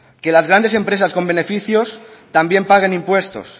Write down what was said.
que las grandes empresas con beneficios también paguen impuestos